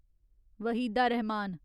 Waheeda Rehman